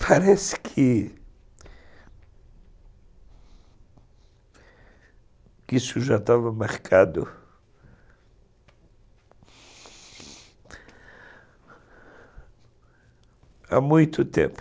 Parece que isso já estava marcado há muito tempo.